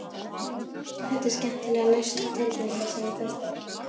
Þetta er skemmtilega laust við tilfinningasemi, finnst þér ekki?